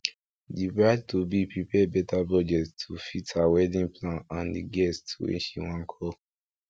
the bride to be prepare better budget to fit her wedding plan and the guests wey she wan call